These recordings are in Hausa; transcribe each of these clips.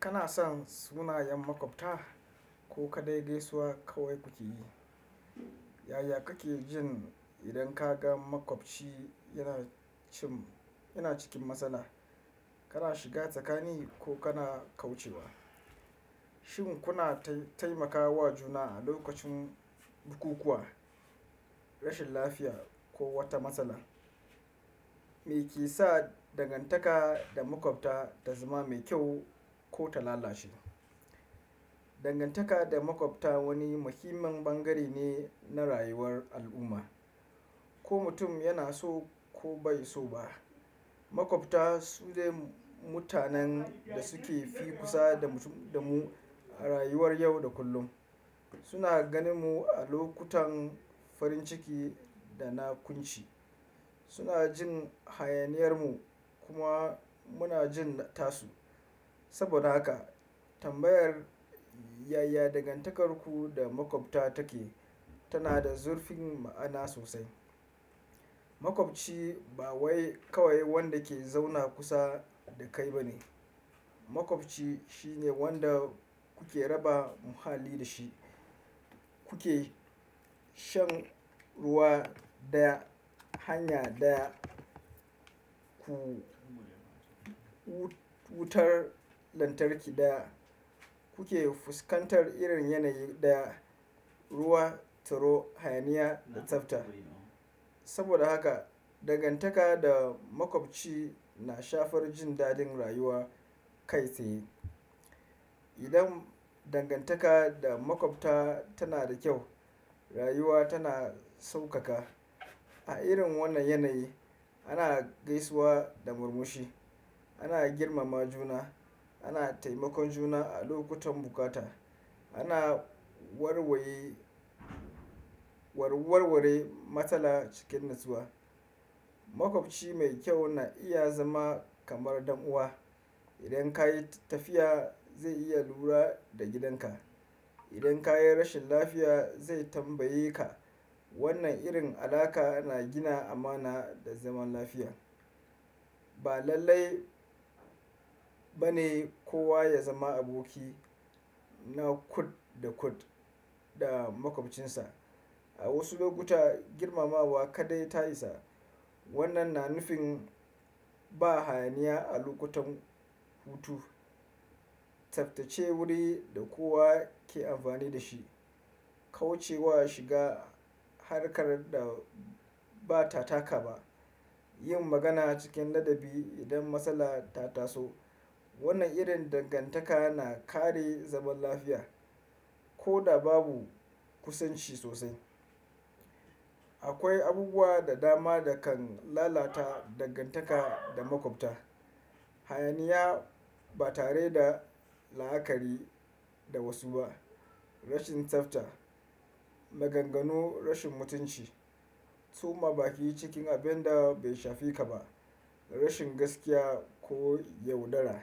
Kana son sunayen maƙwabta ko ka dai gaisuwa kawai kuke yi. Yaya kake jin idan ka ga maƙwabci yana cikin matsala, kana shiga tsakani ko kana kaucewa? Shin kuna taimakawa juna a lokacin bukukuwa, rashin lafiya ko wata matsala? Me ke sa dangantaka da maƙwabta ta zama mai kyau ko ta lalace? Dangantaka da maƙwabta wani muhimmin bangare ne na rayuwar al'umma. Ko mutum yana so ko bai so ba, maƙwabta su ne mutanen da suke fi kusa da mu a rayuwar yau da kullum. Suna gani mu a lokutan farin ciki da na kunshi. Suna jin hayaniyar mu kuma muna jin tasu. Saboda haka tambayar yaya dangantakarku da maƙwabta take tana da zurfin ma'ana sosai. Maƙwabci ba kawai wanda ke zauna kusa da kai ba ne. Maƙwabci shine wanda kuke raba muhalli da shi, kuke shan ruwa daya hanya daya ku wutar lantarki daya kuke fuskantar irin yanayi daya ruwa, taro, hayaniya da tsafta. Saboda haka dangantaka da maƙwabci na shafar jin dadin rayuwa kai tsaye. Idan dangantaka da maƙwabta tana da kyau, rayuwa tana saukaka. A irin wannan yanayi ana gaisuwa da murmushi, ana girmama juna, ana taimakon juna a lokutan bukata, ana warware matsala cikin natsuwa. Maƙwabci mai kyau na iya zama kamar ɗan uwa. Idan ka yi tafiya zai iya lura da gidanka. Idan ka yi rashin lafiya zai tambaye ka. Wannan irin alaƙa na gina amana da zaman lafiya. Ba lallai ba ne kowa ya zama aboki na kud da kud da maƙwabcinsa. A wasu lokuta girmamawa kaɗai ta isa. Wannan na nufin ba hayaniya a lokutan hutu, tsaftace wuri da kowa ke amfani da shi, kaucewa shiga harkar da ba ta taka ba, yin magana cikin ladabi idan matsala ta taso. Wannan irin dangantaka na kare zaman lafiya ko da babu kusanci sosai. Akwai abubuwa da dama da kan lalata dangantaka da maƙwabta. Hayaniya ba tare da la'akari da wasu ba, rashin tsafta, maganganu, rashin mutunci, suma ba ki yi cikin abin da bai shafi ka ba, rashin gaskiya ko yaudara.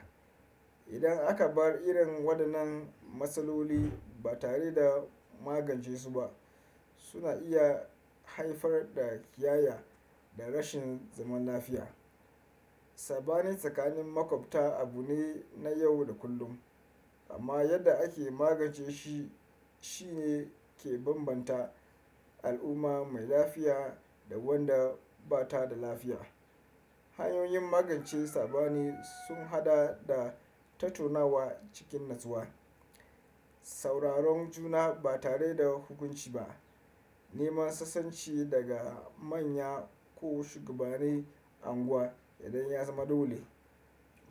Idan aka bar irin waɗannan matsaloli ba tare da magance su ba, suna iya haifar da ƙiyaya da rashin zaman lafiya. Saɓani tsakanin maƙwabta abu ne na yau da kullum amma yadda ake magance shi shine ke bambanta al'umma mai lafiya da wanda ba ta da lafiya. Hanyoyin magance saɓani sun haɗa da tatonawa cikin natsuwa, sauraron juna ba tare da hukunci ba, neman sasanci daga manya ko shugabane unguwa idan ya zama dole.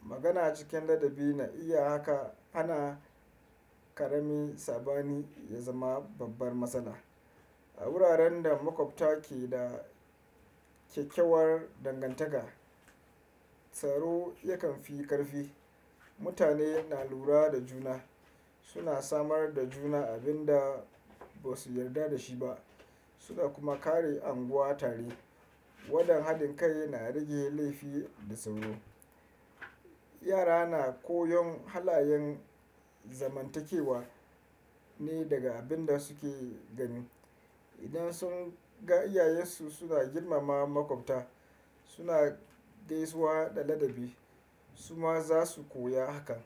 Magana cikin ladabi na iya haka hana ƙarami saɓani ya zama babbar matsala. A wuraren da maƙwabta ke da ƙyaƙyawar dangantaka, tsaro yakan fi ƙarfi. Mutane na lura da juna, suna samar da juna abin da ba su yarda da shi ba suna kuma kare unguwa tare. Waɗannan haɗin kai na rage laifi da tsoro. Yara na koyon halayen zamantakewa ne daga abin da suke gani. Idan sun ga iyayensu suna girmama maƙwabta, suna gaisuwa da ladabi, su ma za su koya haka.